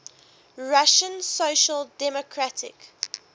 russian social democratic